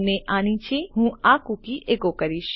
અને આ નીચે હું આ કૂકી એકો કરીશ